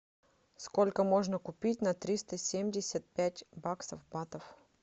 сколько можно купить на триста семьдесят пять баксов батов